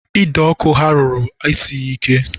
Ide ọkụ ha rụrụ, esighị ike